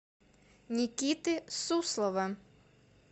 никиты суслова